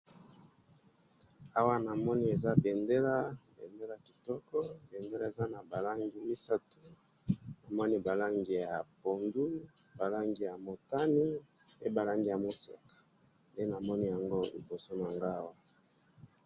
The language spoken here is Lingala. Awa namoni eza bendela, bendela kitoko, bendela eza nabalangi misatu, namoni balangi ya pondu, balangi yamutane, pe balangi yamoseka, nde namoni yango liboso nanga awa